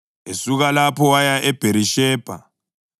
Esuka lapho waya eBherishebha.